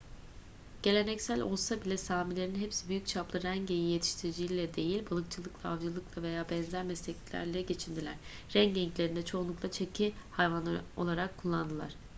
geleneksel olsa bile samilerin hepsi büyük çaplı ren geyiği yetiştiriciliğiyle değil balıkçılıkla avcılıkla veya benzer mesleklerle geçindiler ren geyiklerini de çoğunlukla çeki hayvanları olarak kullandılar